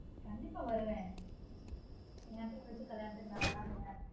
கண்டீப்பா வருவன் என் தங்கச்சி கல்யாணத்துக்கு நான் வராமயா